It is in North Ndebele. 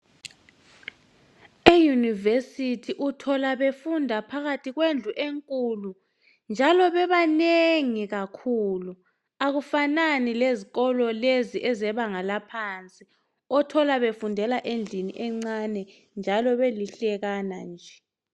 Iyunivesithi uthola befunda phakathi kwendlu enkulu njalo bebanengi kakhulu, akufanani lezikolo lezi ezebanga laphansi othola befundela endlini encane njalo belihlekana nje.